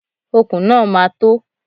Okùn náà ma tó.